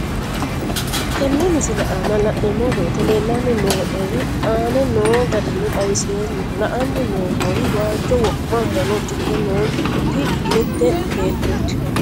Tenne misile aana laeemmo woyte leelanni noo'ere aane noo garinni xawiseemmo. La'anni noomorri waajo wo'ma uddanno uddidhe nooti mitte beetooti.